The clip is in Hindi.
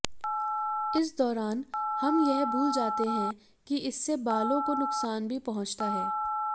इस दौरान हम यह भूल जाते हैं कि इससे बालों को नुकसान भी पहुंचता है